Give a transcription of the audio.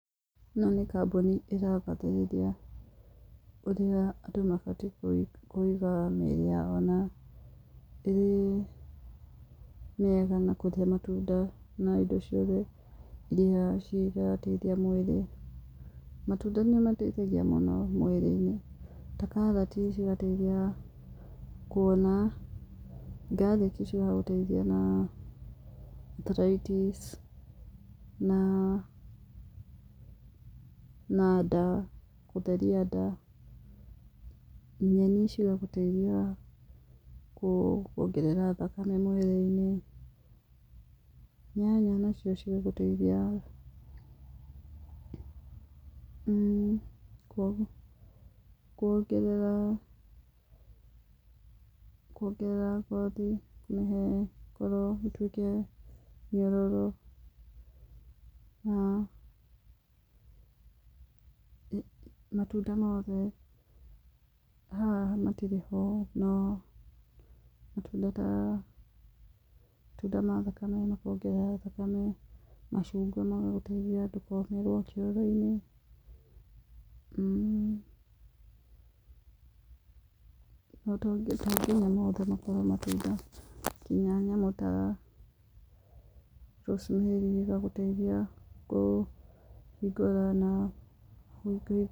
Ĩno nĩ kambũni ĩragathĩrĩria ũrĩa andũ mabatiĩ kũiga mĩrĩ yao na ĩrĩ mĩega na kũrĩa matunda na indo ciothe iria cirateithia mwĩrĩ. Matunda nĩ mateithagia mũno mwĩrĩ-inĩ, ta karati cigateithia kuona. Garlic cigagũteithia na arthritis na na nda gũtheria nda. Nyeni cigagũteithia kuongerera thakame mwĩrĩ-inĩ. Nyanya nacio cigagũteithia kuongerera kuongerera ngothi kũmĩhe ĩkorwo ĩtuĩke nyororo. Na, matunda mothe haha matirĩ ho, noo matunda ta matunda ma thakame makongerera thakame, macungwa magagũteithia ndũkomĩrwo kĩoro-inĩ, to nginya mothe makorwo matunda kinya nyamũ ta rosemary ĩgagũteithia kũhingũra na